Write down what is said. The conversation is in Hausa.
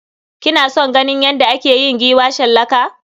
Kina son ganin yadda ake yin giwa shallaka?